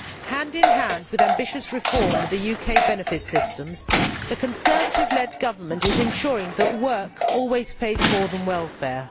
Hand in hand with ambitious reform of the UK benefits systems, the Conservative led Government is ensuring that work always pays more than welfare.